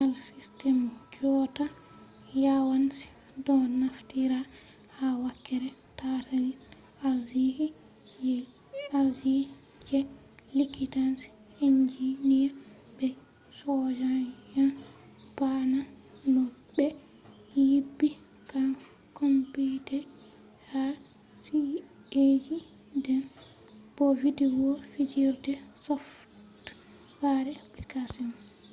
je al system jotta yawanci do naftira ha wakkere tatalin arziki, je likitanci, enjiniya be soja’en ba’na no be nyibi computer ha ci’’eiji den bo video fijirde software applications